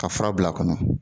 Ka fura bila kɔnɔ.